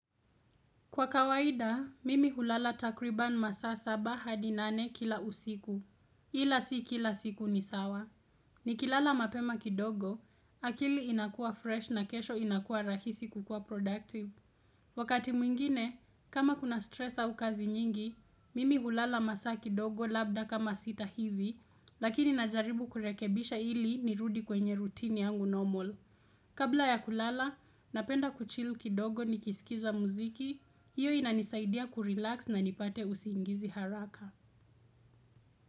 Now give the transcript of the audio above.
Kwa kawaida, mimi hulala takriban masa saba hadi nane kila usiku. Ila si kila siku ni sawa. Nikilala mapema kidogo, akili inakua fresh na kesho inakua rahisi kukua productive. Wakati mwingine, kama kuna stress au kazi nyingi, mimi hulala masa kidogo labda kama sita hivi, lakini najaribu kurekebisha ili nirudi kwenye rutini yangu normal. Kabla ya kulala, napenda kuchill kidogo ni kisikiza muziki, hiyo inanisaidia kurelax na nipate usiingizi haraka.